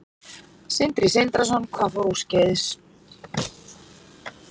Sindri Sindrason: Hvað fór úrskeiðis?